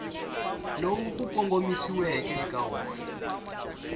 lowu ku kongomisiweke eka wona